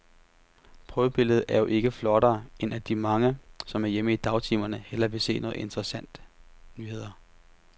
Prøvebilledet er jo ikke flottere, end at de mange, som er hjemme i dagtimerne, hellere vil se nogle interessante nyheder.